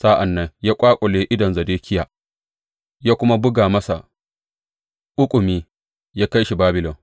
Sa’an nan ya ƙwaƙule idanun Zedekiya ya kuma buga masa ƙuƙumi, ya kai shi Babilon.